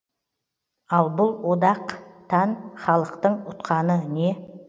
ал бұл одақтанхалықтың ұтқаны не